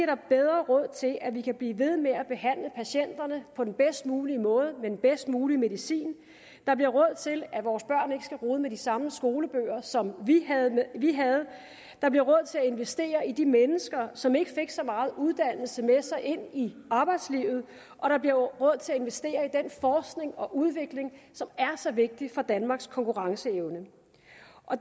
der bedre råd til at vi kan blive ved med at behandle patienterne på den bedst mulige måde med den bedst mulige medicin der bliver råd til at vores børn ikke skal rode med de samme skolebøger som vi havde der bliver råd til at investere i de mennesker som ikke fik så meget uddannelse med sig ind i arbejdslivet og der bliver råd til at investere i den forskning og udvikling som er så vigtig for danmarks konkurrenceevne